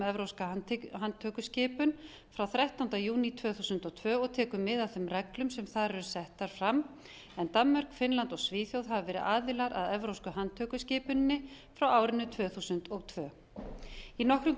evrópska handtökuskipun frá þrettánda júní tvö þúsund og tvö og tekur mið af þeim reglum sem þar eru settar fram en danmörk finnland og svíþjóð hafa verið aðilar að evrópsku handtökuskipuninni frá árinu tvö þúsund og tvö í nokkrum grundvallar